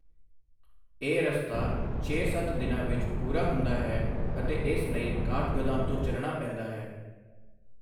ਇਹ ਰਸਤਾ ਛੇ ਸੱਤ ਦਿਨਾਂ ਵਿੱਚ ਪੂਰਾ ਹੁੰਦਾ ਹੈ ਅਤੇ ਇਸ ਲਈ ਕਾਠਗੋਦਾਮ ਤੋਂ ਚਲਣਾ ਪੈਂਦਾ ਹੈ।